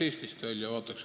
Austatud Riigikogu liikmed!